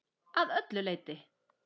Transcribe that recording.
Að öllu leyti.